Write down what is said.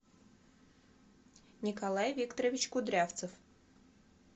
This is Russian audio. николай викторович кудрявцев